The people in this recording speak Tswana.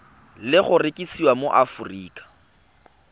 le go rekisiwa mo aforika